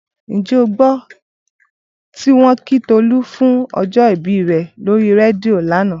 Ǹjẹ́ o gbọ́ tí wọ́n kí Tolú fún ọjọ́ ìbí rẹ̀ lórí rédíò lánàá?